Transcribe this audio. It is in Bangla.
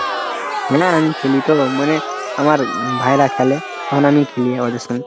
মানে আমি খেলি তো, মনে আমার ভাইয়েরা খেলে তখন আমি খেলি আমাদের সঙ্গে।